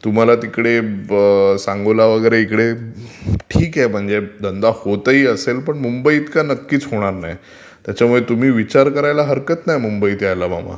तुम्हाला तिकडे सांगोला वगैरे ठीक आहे म्हणजे धंदा होत ही असेल पण मुंबई इतका नक्कीच होणार नाही. त्याच्यमुळे तुम्ही विचार करायला हरकत नाही मुंबईत यायला मामा...